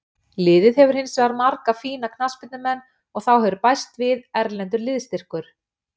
Liðið hefur hinsvegar marga fína knattspyrnumenn og þá hefur bæst við erlendur liðsstyrkur.